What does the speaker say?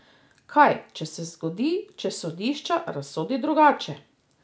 Kaj, če se zgodi, če sodišče razsodi drugače?